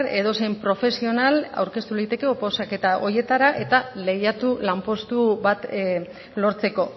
edozein profesional aurkeztu liteke oposaketa horietara eta lehiatu lanpostu bat lortzeko